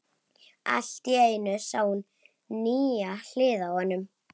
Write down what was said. Allt í einu sá hún nýja hlið á honum.